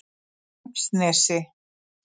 Laxnesi